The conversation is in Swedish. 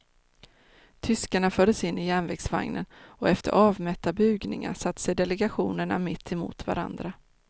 Tyskarna fördes in i järnvägsvagnen och efter avmätta bugningar satte sig delegationerna mitt emot varandra.